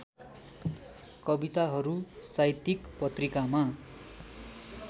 कविताहरू साहित्यिक पत्रिकामा